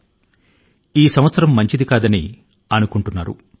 వారిలో కొందరు 2020 వ సంవత్సరం శుభప్రదమైంది కాదని పేర్కొంటున్నారు